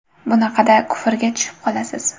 Bunaqada kufrga tushib qolasiz.